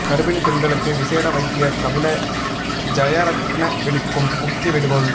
கர்ப்பிணிப் பெண்களுக்கு விசேட வைத்தியர் கபில ஜயரத்ன விடுக்கும் முக்கிய வேண்டுகோள்